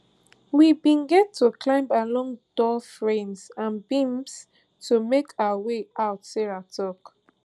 we bin get to climb along door frames and beams to make our way out sarah tok